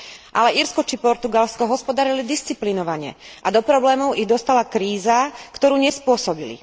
Ale Írsko či Portugalsko hospodárili disciplinovane a do problémov ich dostala kríza, ktorú nespôsobili.